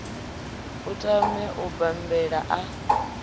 a tame u bambela a